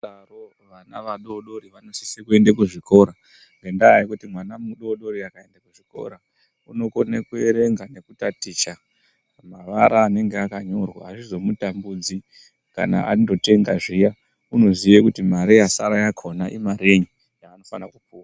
Daro vana vadodori vanosise kuende kuzvikora ngendaa yekuti mwana mudodori akaende kuchikora unokone kuerenga nekutaticha mavara anenge akanyorwa azvizomutambudzi kana andotenga zviya unoziye kuti mare yasara yakhona imarenyinyaanofana kupuwa .